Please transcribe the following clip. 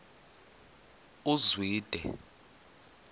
uzwide